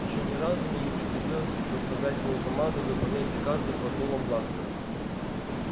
ещё ни разу мне не приходилось заставлять мою команду выполнять приказы под дулом бластера